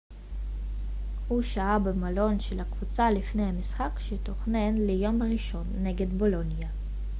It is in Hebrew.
הוא שהה במלון של הקבוצה לפני המשחק שתוכנן ליום ראשון נגד בולוניה